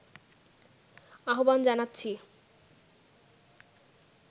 আহ্বান জানাচ্ছি